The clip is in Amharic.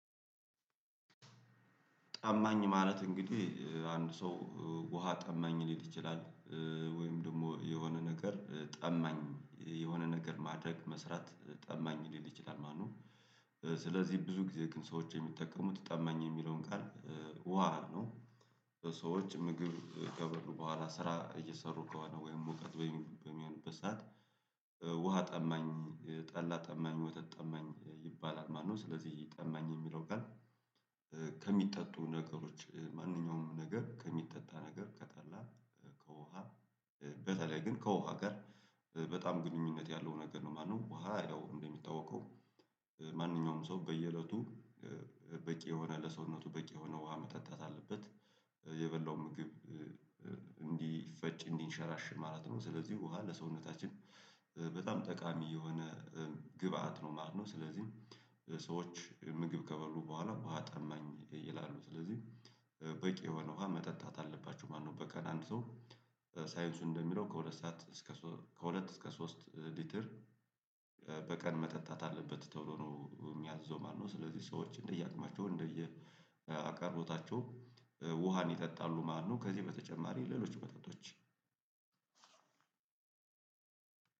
ጠማኝ ማለት እንግዲህ አንድ ሰው ውሃ ጠማኝ ሊል ይችላል ወይም ደግሞ የሆነ ነገር ጠማኝ የሆነ ነገር ማድረግ መስራት ጠማኝ ሊል ይችላል ማለትው ስለዚህ ብዙ ጊዜ ግን ሰዎች የሚጠቀሙት ጠማኝ የሚለውን ቃል ውሃ ነው ምግብ ከበሉ በኋላ ስራ እየሰሩ ከሆነ ወይም ሙቀት በሚ በሚሆንበት ሰዓት ውሃ ጠማኝ ጠላ ጠማኝ ወተት ጠማኝ ይባላል ማለት ነው ስለዚህ ጠማኝ የሚለው ጋር ከሚጠጡ ነገሮች ማንኛውም ነገር ከሚጠጣ ነገር ከጠላ ከውሃ በተለይ ግን ከውሃ ጋር በጣም ግንኙነት ያለው ነገር ነው ማነው ውሃ ያው እንደሚታወቀው ማንኛዉም ሰው ሰው በየእለቱ በቂ የሆነ ለሰውነቱ በቂ የሆነ ውሃ መጠጣት አለበት። የበላው ምግብ እንዲፈጭ እንዲንሸራሸር ማለት ነው። ስለዚህ ውሃ ለሰውነታችን በጣም ጠቃሚ የሆነ ግብአት ነው ማለት ነው። ስለዚህ ሰዎች ምግብ ከበሉ በኋላ ውሃ ጠማኝ ይላሉ። ስለዚህ በቂ የሆነ ውሃ መጠጣት አለባቸው ማለት ነው። በቀን አንድ ሰው ሳይንሱ እንደሚለው ከሁለት ሰዓት እስከ ሶ ከሁለት እስከ ሶስት ሊትር በቀን መጠጣት አለበት ተብሎ ነው የሚያዝዘው ማለት ነው። ስለዚህ ሰዎች እንደየአቅማቸው እንደየአቀርቦታቸው ውሃን ይጠጣሉ ማት ነው። ከዚህ በተጨማሪ ሌሎች መጠጦች